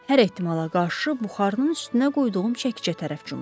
Hər ehtimala qarşı buxarının üstünə qoyduğum çəkicə tərəf cumdum.